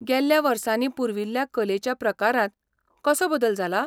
गेल्ल्या वर्सांनी पुर्विल्ल्या कलेच्या प्रकारांत कसो बदल जाला?